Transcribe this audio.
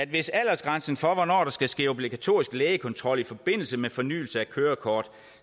hvis aldersgrænsen for hvornår der skal ske obligatorisk lægekontrol i forbindelse med fornyelse af kørekort